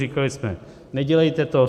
Říkali jsme, nedělejte to.